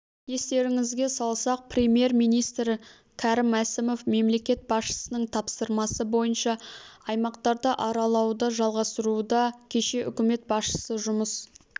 естеріңізге салсақ премьер-министрі кәрім мәсімов мемлекет басшысының тапсырмасы бойынша аймақтарды аралауды жалғастыруда кеше үкімет басшысы жұмыс